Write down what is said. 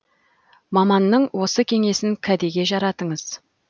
маманның осы кеңесін кәдеге жаратыңыз